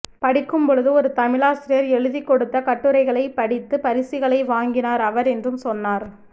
படிக்கும் பொழுது ஒரு தமிழாசிரியர் எழுதிக்கொடுத்த கட்டுரைகளை படித்து பரிசுகளை வாங்கினார் அவர் என்றும் சொன்னார்